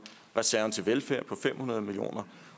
reserven til velfærd på fem hundrede million kroner